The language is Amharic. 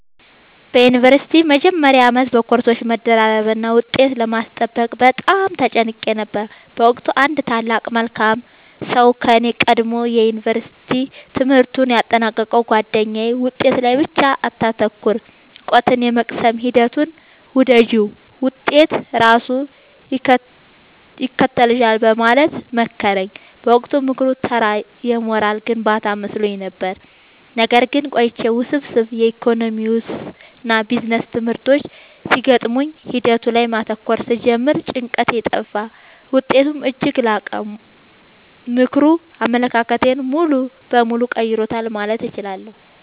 በዩኒቨርሲቲ መጀመሪያ ዓመት በኮርሶች መደራረብና ውጤት ለማስጠበቅ በጣም ተጨንቄ ነበር። በወቅቱ አንድ ታላቅ መልካም ሰው ከኔ ቀድሞ የዩንቨርስቲ ትምህርቱን ያጠናቀቀው ጉአደኛዬ «ውጤት ላይ ብቻ አታተኩሪ: እውቀትን የመቅሰም ሂደቱን ውደጂው፣ ውጤት ራሱ ይከተልሻል» በማለት መከረኝ። በወቅቱ ምክሩ ተራ የሞራል ግንባታ መስሎኝ ነበር። ነገር ግን ቆይቼ ውስብስብ የኢኮኖሚክስና ቢዝነስ ትምህርቶች ሲገጥሙኝ ሂደቱ ላይ ማተኮር ስጀምር ጭንቀቴ ጠፋ: ውጤቴም እጅግ ላቀ። ምክሩ አመለካከቴን ሙሉ በሙሉ ቀይሮታል ማለት እችላለሁ።